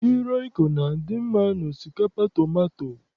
Magị rọịko na-adị mma n'osikapa tomato.